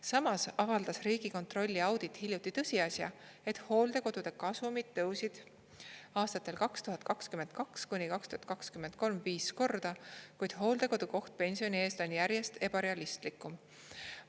Samas avaldas Riigikontrolli audit hiljuti tõsiasja, et hooldekodude kasumid tõusid aastatel 2022–2023 viis korda, kuid hooldekodu koht pensioni eest on järjest ebarealistlikum.